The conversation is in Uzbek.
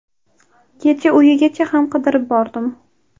Kecha uyigacha ham qidirib bordim.